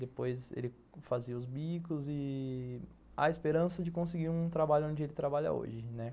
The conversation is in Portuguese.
Depois ele fazia os bicos e... A esperança de conseguir um trabalho onde ele trabalha hoje, né?